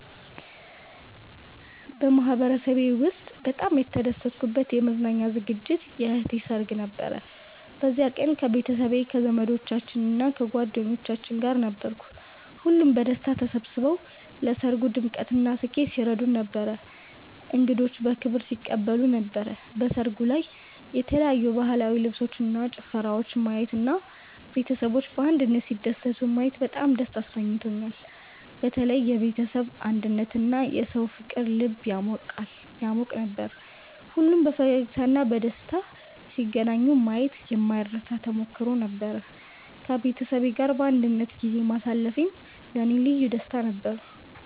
በማህበረሰቤ ውስጥ በጣም የተደሰትኩበት የመዝናኛ ዝግጅት የእህቴ ሰርግ ነበር። በዚያ ቀን ከቤተሰቤ፣ ከዘመዶቻችን እና ከጓደኞቻችን ጋር ነበርኩ። ሁሉም በደስታ ተሰብስበው ለሰርጉ ድምቀትና ስኬት ሲረዱን ነበር፣ እንግዶችንም በክብር ሲቀበሉ ነበር። በሰርጉ ላይ የተለያዩ ባህላዊ ልብሶችን እና ጭፈራወችን ማየት እና ቤተሰቦች በአንድነት ሲደሰቱ ማየት በጣም ደስ አሰኝቶኛል። በተለይ የቤተሰብ አንድነትና የሰዎች ፍቅር ልብ ያሟቅ ነበር። ሁሉም በፈገግታ እና በደስታ ሲገናኙ ማየት የማይረሳ ተሞክሮ ነበር። ከቤተሰቤ ጋር በአንድነት ጊዜ ማሳለፌም ለእኔ ልዩ ደስታ ነበረው።